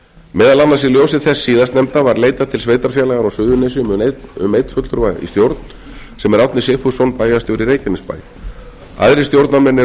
meðal annars í ljósi þess síðastnefnda var leitað til sveitarfélaganna á suðurnesjum um einn fulltrúa í stjórn sem er árni sigfússon bæjarstjóri í reykjanesbæ aðrir stjórnarmenn eru